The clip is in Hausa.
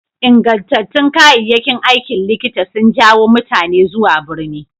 Ingantattun kayayyakin aikin likita sun jawo mutane zuwa birni.